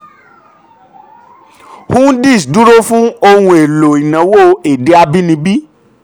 "hundis" dúró fún ohun èlò ìnáwó èdè abínibí.